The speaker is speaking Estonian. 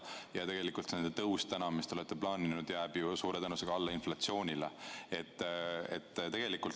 Ja tegelikult see palgatõus, mis te olete plaaninud, jääb suure tõenäosusega inflatsioonile alla.